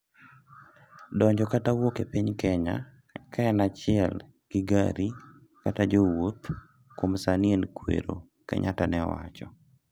"donjo kata wuok e piny Kenya, ka en achiel gi gari kata jo wouth, kuom sani an kwero" Kenyatta ne owacho